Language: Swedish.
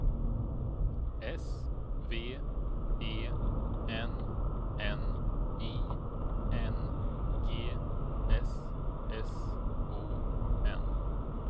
S V E N N I N G S S O N